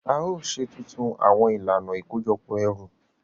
A yoo ṣe tuntun awọn ilana ikojọpọ ẹru.